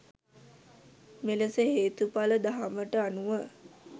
මෙලෙස හේතුඵල දහමට අනුව